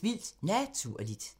Vildt Naturligt *